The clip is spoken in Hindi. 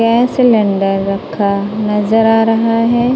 गैस सिलेंडर रखा नजर आ रहा है।